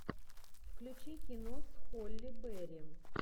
включи кино с холли берри